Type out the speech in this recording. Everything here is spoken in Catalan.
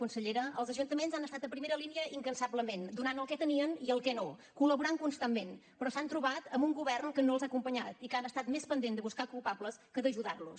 consellera els ajuntaments han estat a primera línia incansablement donant el que tenien i el que no col·laborant constantment però s’han trobat amb un govern que no els ha acompanyat i que ha estat més pendent de buscar culpables que d’ajudar los